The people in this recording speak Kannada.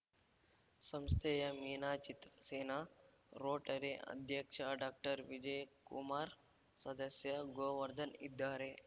ಸಂಸ್ಥೆಯ ಮೀನಾ ಚಿತ್ರಸೇನ ರೋಟರಿ ಅಧ್ಯಕ್ಷ ಡಾಕ್ಟರ್ವಿಜಯಕುಮಾರ್‌ ಸದಸ್ಯ ಗೋವರ್ಧನ್‌ ಇದ್ದಾರೆ